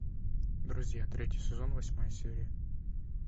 друзья третий сезон восьмая серия